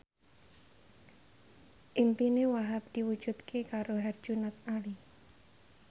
impine Wahhab diwujudke karo Herjunot Ali